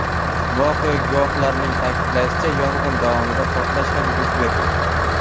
Voqea guvohlarining ta’kidlashicha, yong‘in davomida portlash ham yuz bergan.